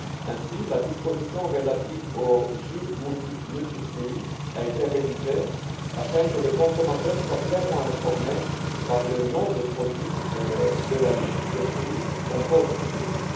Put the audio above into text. Ainsi, la disposition relative aux jus multifruits' a été révisée afin que le consommateur soit clairement informé par le nom du produit de la liste des fruits qui composent ce jus.